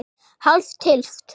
Hálf tylft?